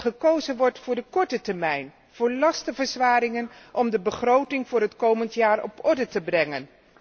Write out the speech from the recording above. Dat gekozen wordt voor de korte termijn, voor lastenverzwaringen om de begroting voor het komend jaar op orde te brengen.